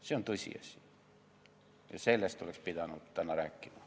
See on tõsiasi ja sellest oleks pidanud täna rääkima.